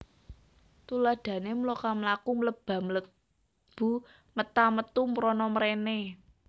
Tuladhané mloka mlaku mleba mlebu meta metu mrana mréné